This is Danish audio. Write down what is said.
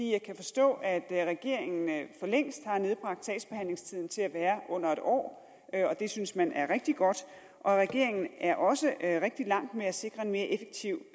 jeg kan forstå at regeringen for længst har nedbragt sagsbehandlingstiden til at være under en år og det synes man er rigtig godt og regeringen er også rigtig langt med at sikre en mere effektiv